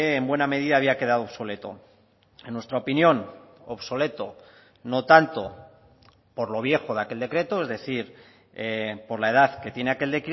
en buena medida había quedado obsoleto en nuestra opinión obsoleto no tanto por lo viejo de aquel decreto es decir por la edad que tiene aquel